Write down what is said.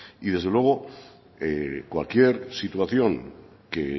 y desde luego cualquier situación que